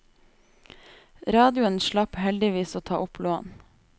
Radioen slapp heldigvis å ta opp lån.